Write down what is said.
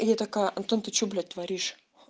я такая антон ты что блять творишь